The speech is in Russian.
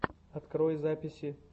открой записи